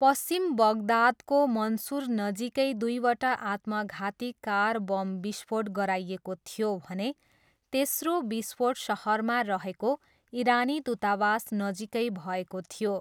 पश्चिम बगदादको मन्सुर नजिकै दुईवटा आत्मघाती कार बम विस्फोट गराइएको थियो भने तेस्रो विस्फोट सहरमा रहेको इरानी दूतावास नजिकै भएको थियो।